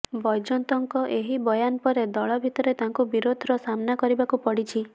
ବୈଜୟନ୍ତଙ୍କ ଏହି ବୟାନ ପରେ ଦଳ ଭିତରେ ତାଙ୍କୁ ବିରୋଧର ସାମ୍ନା କରିବାକୁ ପଡିଛି